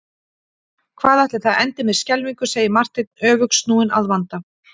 Hvað ætli það endi með skelfingu segir Marteinn öfugsnúinn að vanda.